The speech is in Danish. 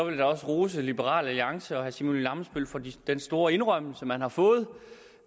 jeg da også rose liberal alliance og herre simon emil ammitzbøll for den store indrømmelse man har fået